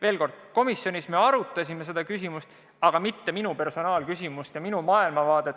Veel kord: me komisjonis arutasime seda küsimust, aga mitte minu personaalset arvamust ja minu maailmavaadet.